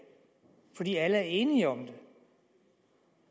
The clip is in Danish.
fordi alle er enige om det